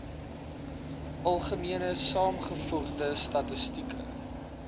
algemene saamgevoegde statistieke